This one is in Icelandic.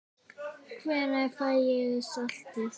Hvenær fæ ég saltið?